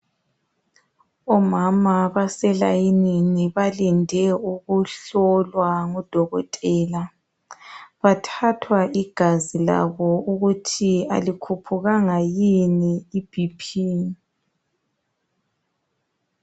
Omama baselayinini balinde ukuhlolwa ngudokotela. Bathathwa igazi labo ukuthi alikhuphukanga yini iBP